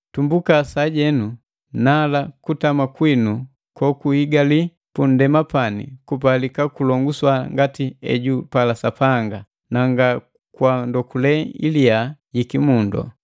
Tumbuka sajenu, nala kutama kwinu kokuhigali punndema pani kupalika kuloguswa ngati ejupala Sapanga, na nga kwa ndokule iliya yi kimundo.